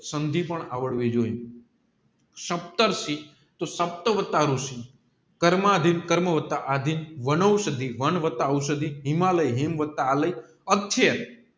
સંધિ પણ આવડવી જોઈએ કર્મ આદિ કર્મ વત્તા વનૌસદ્ધિ વેન વાત્ત ઔસાઢી હિમાલયા હિમ વાતા આલે